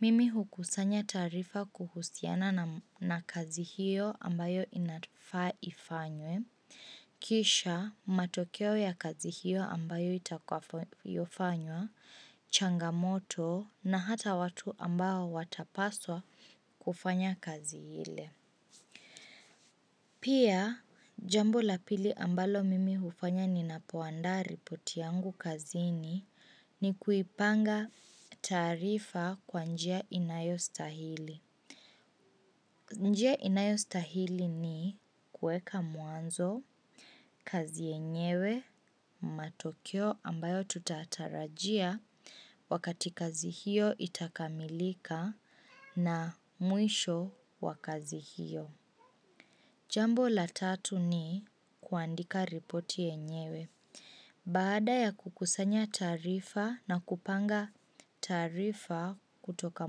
Mimi hukusanya taarifa kuhusiana na kazi hiyo ambayo inafaa ifanywe. Kisha matokeo ya kazi hiyo ambayo itakayofanywa, changamoto na hata watu ambayo watapaswa kufanya kazi hile Pia, jambo la pili ambalo mimi hufanya ninapoandaa ripoti yangu kazini ni kuipanga taarifa kwa njia inayo stahili njia inayo stahili ni kueka mwanzo, kazi yenyewe, matokeo ambayo tutatarajia wakati kazi hiyo itakamilika na muisho wakazi hiyo. Jambo la tatu ni kuandika ripoti yenyewe. Baada ya kukusanya tarifa na kupanga tarifa kutoka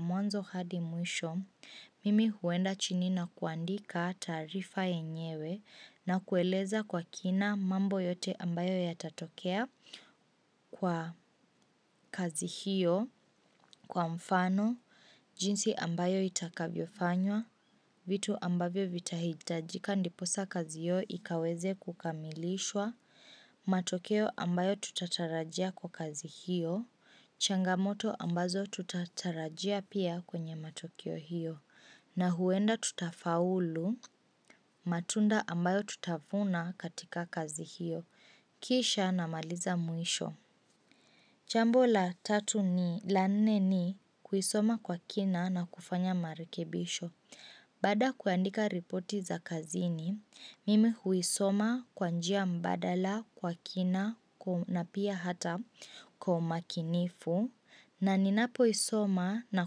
mwanzo hadi muisho, mimi huenda chini na kuandika tarifa enyewe na kueleza kwa kina mambo yote ambayo yatatokea kwa kazi hiyo, Kwa mfano, jinsi ambayo itakavyofanywa, vitu ambavyo vitahitajika ndiposa kazi yao ikaweze kukamilishwa, matokeo ambayo tutatarajia kwa kazi hiyo, changamoto ambazo tutatarajia pia kwenye matokeo hiyo, na huenda tutafaulu, matunda ambayo tutavuna katika kazi hiyo, kisha na maliza muisho. Jambo la tatu ni la nene ni kuisoma kwa kina na kufanya marekebisho. Baada ya kuandika ripoti za kazini, mimi huisoma kwa njia mbadala kwa kina na pia hata kwa umakinifu. Na ninapoisoma na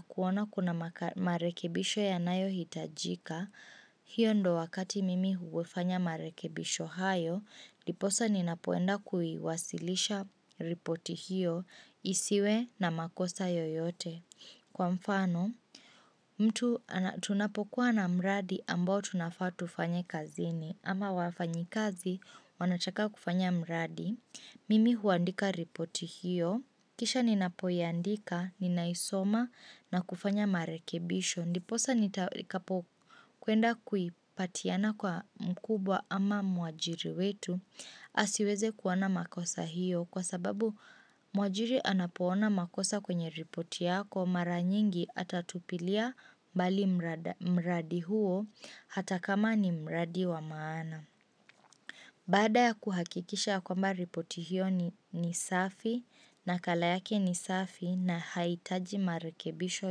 kuona kuna marekebisho ya nayo hitajika. Hiyo ndo wakati mimi huefanya marekebisho hayo, diposa ninapoenda kuiwasilisha ripoti hiyo, isiwe na makosa yoyote. Kwa mfano, mtu tunapokuwa na mradi ambao tunafaa tufanye kazini, ama wafanyikazi wanataka kufanya mradi, mimi huandika ripoti hiyo, kisha ninapoyandika, ninaisoma na kufanya marekebisho. Ndiposa nitakapo kuenda kuipatiana kwa mkubwa ama mwajiri wetu asiweze kuona makosa hiyo kwa sababu mwajiri anapoona makosa kwenye ripoti yako mara nyingi atatupilia bali mradi huo hata kama ni mradi wa maana. Baada ya kuhakikisha kwamba ripoti hiyo ni safi nakala yake ni safi na haitaji marekebisho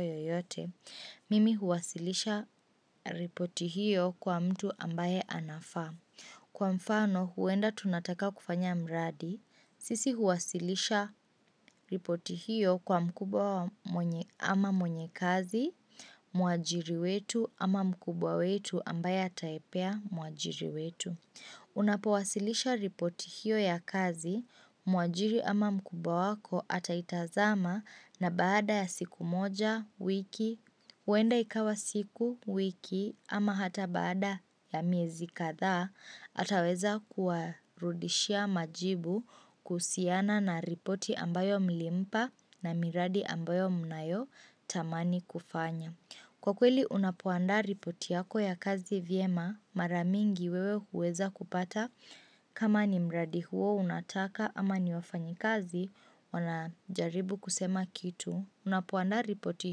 yoyote, mimi huwasilisha ripoti hiyo kwa mtu ambaye anafaa. Kwa mfano huenda tunataka kufanya mradi, sisi huwasilisha ripoti hiyo kwa mkubwa ama mwenye kazi, mwajiri wetu ama mkubwa wetu ambaye ataipea muajiri wetu. Unapowasilisha ripoti hiyo ya kazi, mwajiri ama mkubwa wako ataitazama na baada ya siku moja, wiki, uenda ikawa siku, wiki ama hata baada ya miezi kadha, ataweza kuwarudishia majibu kuhusiana na ripoti ambayo milimpa na miradi ambayo mnayo tamani kufanya. Kwa kweli unapoandaa ripoti yako ya kazi vyema mara mingi wewe huweza kupata kama ni mradi huo unataka ama ni wafanyikazi wanajaribu kusema kitu. Unapoandaa ripoti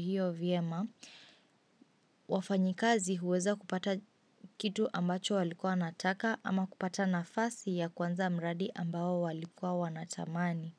hiyo vyema wafanyikazi huweza kupata kitu ambacho walikua wanataka ama kupata nafasi ya kuanza mradi ambao walikua wanatamani.